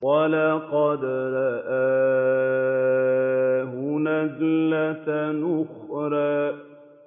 وَلَقَدْ رَآهُ نَزْلَةً أُخْرَىٰ